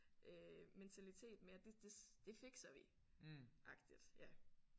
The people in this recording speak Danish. Øh mentalitet med at det det det fikser vi agtigt ja